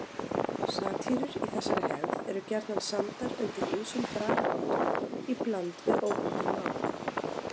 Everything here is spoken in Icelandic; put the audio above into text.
Satírur í þessari hefð eru gjarnan samdar undir ýmsum bragarháttum í bland við óbundið mál.